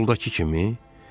İyuldakı kimi?